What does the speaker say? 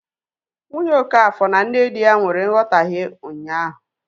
Nwunye okafor na nne di ya nwere nghotahie ụnyaahụ